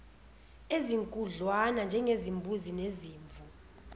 ezinkudlwana njengezimbuzi nezimvu